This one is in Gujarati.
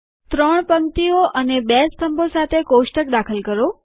3 પંક્તિઓ અને 2 સ્તંભો સાથે કોષ્ટક દાખલ કરો